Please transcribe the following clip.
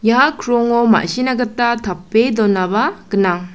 ia krongo ma·sina gita tape donaba gnang.